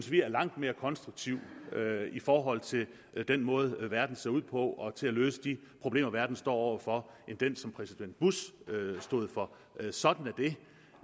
vi er langt mere konstruktiv i forhold til den måde verden ser ud på og til at løse de problemer verden står over for end den som præsident bush stod for sådan